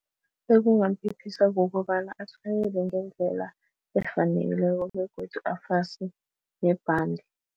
Ekungamphephisa kukobana atjhayele ngendlela efaneleko begodu afase nebhande.